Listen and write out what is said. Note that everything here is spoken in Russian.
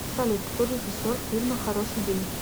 салют кто режиссер фильма хороший день